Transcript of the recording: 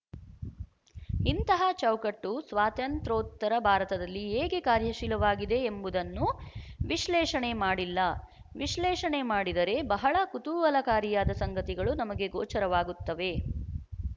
ಇಂತಹ ಚೌಕಟ್ಟು ಸ್ವಾತಂತ್ರ್ಯೋತ್ತರ ಭಾರತದಲ್ಲಿ ಹೇಗೆ ಕಾರ್ಯಶೀಲವಾಗಿದೆ ಎಂಬುದನ್ನು ವಿಶ್ಲೇಷಣೆ ಮಾಡಿಲ್ಲ ವಿಶ್ಲೇಷಣೆ ಮಾಡಿದರೆ ಬಹಳ ಕುತೂಹಲಕಾರಿಯಾದ ಸಂಗತಿಗಳು ನಮಗೆ ಗೋಚರವಾಗುತ್ತವೆ